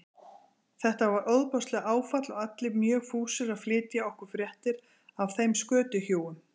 Þetta var ofboðslegt áfall og allir mjög fúsir að flytja okkur fréttir af þeim skötuhjúum.